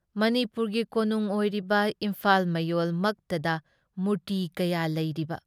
ꯃꯅꯤꯄꯨꯨꯨꯔꯒꯤ ꯀꯣꯅꯨꯡ ꯑꯣꯔꯤꯕ ꯏꯝꯐꯥꯜ ꯃꯌꯣꯜ ꯃꯛꯇꯗ ꯃꯨꯔꯇꯤ ꯀꯌꯥ ꯂꯩꯔꯤꯕ?